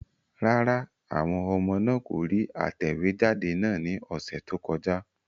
Rárá, àwọn ọmọ náà kò rí atẹ̀wéjáde náà ní ọ̀sẹ̀ tó kọjá.